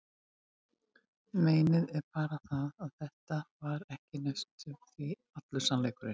Meinið er bara það, að þetta var ekki næstum því allur sannleikurinn.